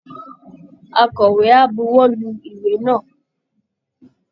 Akọ̀wé á buwọ́lu ìwé náà